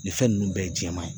Nin fɛn ninnu bɛɛ ye jɛman ye